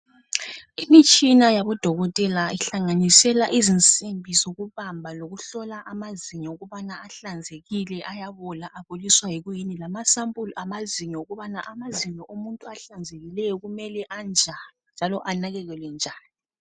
Imitshini yabodokotela bamazinyo ngeyokuhlola amazinyo ukuthi ahlanzekile lokuthi awaboli . Bayafundisa njalo ukuthi sinakekele njani amazinyo wethu.